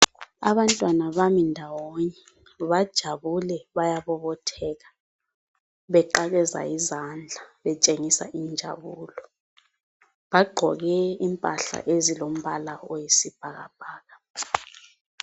Abantwana bami ndawonye bajabule bayabobotheka, beqakeza izandla, betshengisa injabulo. Bagqoke impahla ezilo mbala oyisibhakabhaka.